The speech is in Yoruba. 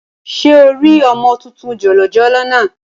Ṣé o rí ọmọ tuntun jòjòló náà?